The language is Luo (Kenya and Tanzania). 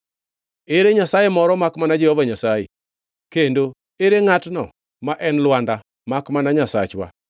Ere Nyasaye moro makmana Jehova Nyasaye? Kendo en ngʼatno ma en Lwanda makmana Nyasachwa?